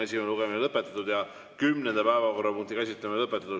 Esimene lugemine on lõpetatud ja kümnenda päevakorrapunkti käsitlemine lõpetatud.